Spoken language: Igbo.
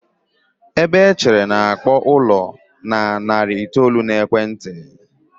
ebe echere na-akpọ ụlọ na narị itoolu na ekwenti.